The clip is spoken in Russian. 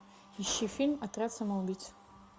ищи фильм отряд самоубийц